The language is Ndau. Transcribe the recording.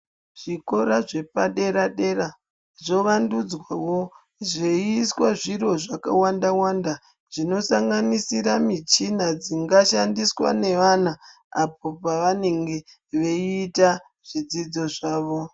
Zvikora zvepa dera dera zvo vandudzwawo zvei iswa zviro zvaka wanda wanda zvino sanganisira michina dzinga shandiswa ne vana apo pa vanenge veita zvidzidzo zvavo.